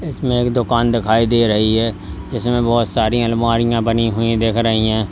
इसमें एक दुकान दिखाई दे रही है जिसमें बहुत सारी अलमारियां बनी हुई दिख रही हैं।